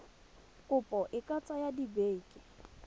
kopo e ka tsaya dibeke